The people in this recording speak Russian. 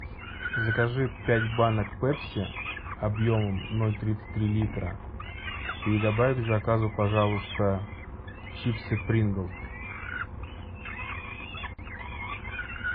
закажи пять банок пепси объемом ноль тридцать три литра и добавь к заказу пожалуйста чипсы принглс